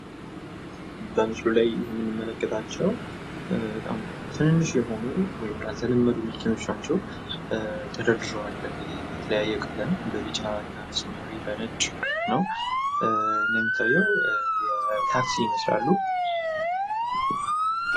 በምስሉ ላይ የምንመለከታቸው በጣም ትንንሽ የሆኑ ያልተለመዱ መኪናዎች ናቸው ፤ ተደርድረዋል እንግዲህ በተለያየ ቀለም በቢጫ እና በሰማያዊ ፤ ታክሲ ይመስላሉ።